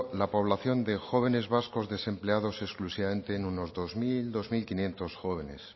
la población de jóvenes vascos desempleados exclusivamente en unos doscero dosquinientos jóvenes